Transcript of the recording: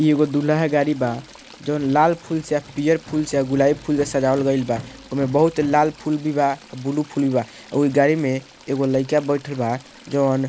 इ एगो दूल्हा के गाड़ी बा जोवन लाल फूल से आ पियर फूल से गुलाबी फूल से सजावल गइल बा ओय में बहुत लाल फूल भी बा आ ब्लू फूल भी बा ओहि गाड़ी में एगो लइका बइठल बा जोवन --